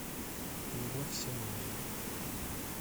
любовь все меняет